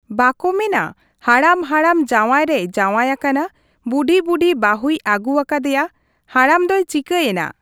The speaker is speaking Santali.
ᱵᱟᱠᱚ ᱢᱮᱱᱟ ᱦᱟᱲᱟᱢ ᱦᱟᱲᱟᱢ ᱡᱟᱶᱟᱭ ᱨᱮᱭ ᱡᱟᱶᱟᱭ ᱟᱠᱟᱱᱟ ᱾ ᱵᱩᱰᱷᱤ ᱵᱩᱰᱷᱤ ᱵᱟᱹᱦᱩᱭ ᱟᱹᱜᱩ ᱟᱠᱟᱫᱮᱭᱟ ᱾ ᱦᱟᱲᱟᱢ ᱫᱚᱭ ᱪᱤᱠᱟᱹᱭᱮᱱᱟ ᱾